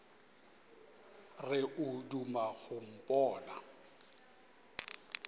re o duma go mpona